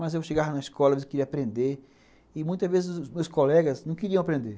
Mas eu chegava na escola e queria aprender, e muitas vezes os meus colegas não queriam aprender.